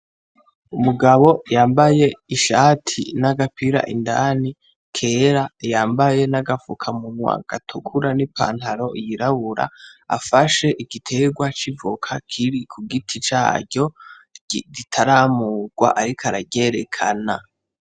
Umugabo yambaye ishati n'agapira indani kera yambaye n'agafukamunwa gatukura n'ipantaro yirabura afashe igitegwa c'ivoka kiri kugiti caryo ritaramugwa ariko araryerekana.